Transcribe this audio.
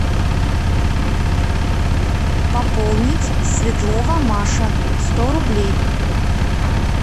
пополнить светлова маша сто рублей